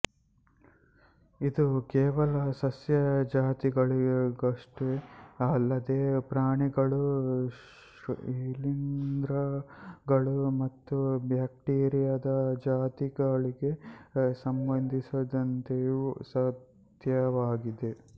ಇದು ಕೇವಲ ಸಸ್ಯ ಜಾತಿಗಳಿಗಷ್ಟೇ ಅಲ್ಲದೇ ಪ್ರಾಣಿಗಳು ಶಿಲೀಂಧ್ರಗಳು ಮತ್ತು ಬ್ಯಾಕ್ಟೀರಿಯಾದ ಜಾತಿಗಳಿಗೆ ಸಂಬಂಧಿಸಿದಂತೆಯೂ ಸತ್ಯವಾಗಿದೆ